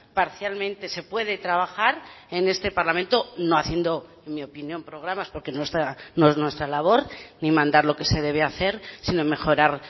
parcialmente se puede trabajar en este parlamento no haciendo mi opinión programas porque no es nuestra labor ni mandar lo que se debe hacer sino mejorar